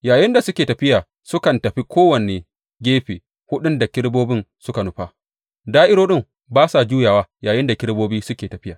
Yayinda suke tafiya, sukan tafi kowane gefe huɗun da kerubobin suka nufa; da’irorin ba sa juyawa yayinda kerubobin suke tafiya.